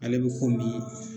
Ale be